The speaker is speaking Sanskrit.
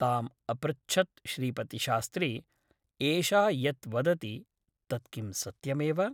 ताम् अपृच्छत् श्रीपतिशास्त्री एषा यत् वदति तत् किं सत्यमेव ?